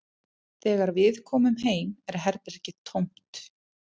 Þegar við komum heim er herbergið tómt